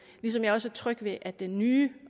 ligesom jeg også er tryg ved at den nye